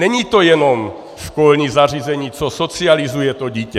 Není to jenom školní zařízení, co socializuje to dítě.